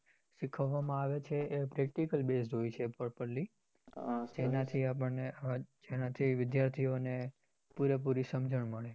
શીખવવા માં આવે છે એ practical base હોય છે properly એનાથી આપણને વિદ્યાર્થીઓ ને પૂરી સમજણ પડે